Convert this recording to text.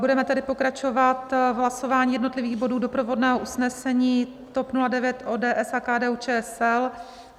Budeme tedy pokračovat hlasováním jednotlivých bodů doprovodného usnesení TOP 09, ODS a KDU-ČSL.